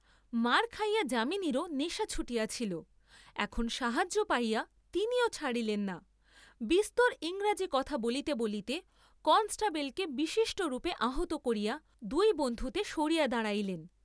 মার খাইয়া যামিনীর ও নেশা ছুটিয়াছিল, এখন সাহায্য পাইয়া তিনিও ছাড়িলেন না, বিস্তর ইংরাজী কথা বলিতে বলিতে কনষ্টেবলকে বিশিষ্ট রূপে আহত করিয়া দুই বন্ধুতে সরিয়া দাঁড়াইলেন।